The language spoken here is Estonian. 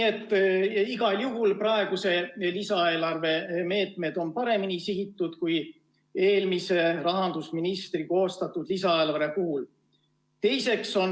Igal juhul praeguse lisaeelarve meetmed on paremini sihitud kui eelmise rahandusministri koostatud lisaeelarve puhul.